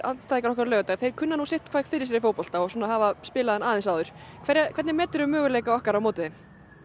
andstæðingar okkar á laugardaginn þeir kunna sitthvað fyrir sér í fótbolta og hafa spilað hann aðeins áður hvernig möguleika okkar á móti þeim